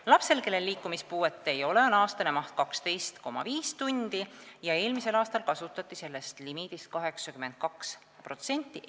Lapsel, kellel liikumispuuet ei ole, on aastane maht 12,5 tundi ja eelmisel aastal kasutati sellest limiidist 82%.